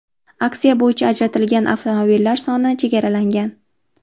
Aksiya bo‘yicha ajratilgan avtomobillar soni chegaralangan.